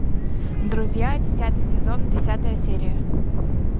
друзья десятый сезон десятая серия